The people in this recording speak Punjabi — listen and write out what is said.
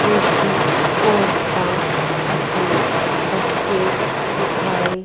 ਕੁਝ ਔਰਤਾਂ ਅਤੇ ਬੱਚੇ ਦਿਖਾਯੇ--